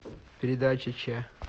передача че